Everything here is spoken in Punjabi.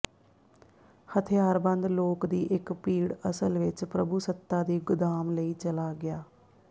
ਹਥਿਆਰਬੰਦ ਲੋਕ ਦੀ ਇੱਕ ਭੀੜ ਅਸਲ ਵਿੱਚ ਪ੍ਰਭੂਸੱਤਾ ਦੀ ਗੋਦਾਮ ਲਈ ਚਲਾ ਗਿਆ